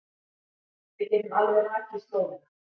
Við getum alveg rakið slóðina.